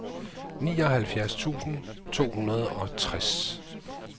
nioghalvfjerds tusind to hundrede og tres